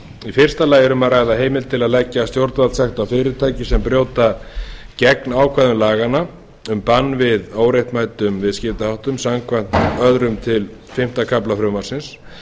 í fyrsta lagi er um að ræða heimild til að leggja stjórnvaldssekt á fyrirtæki sem brjóta gegn ákvæðum laganna um bann við óréttmætum viðskiptaháttum samkvæmt öðrum til fimmta kafla frumvarpsins